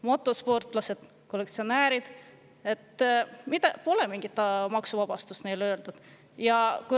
Motosportlased, kollektsionäärid – neile pole mingit maksuvabastust.